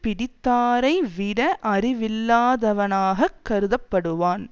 பிடித்தாரை விட அறிவில்லாதவனாகக் கருதப்படுவான்